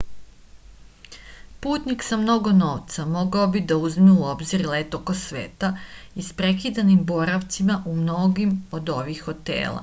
putnik sa mnogo novca mogao bi da uzme u obzir let oko sveta isprekidan boravcima u mnogim od ovih hotela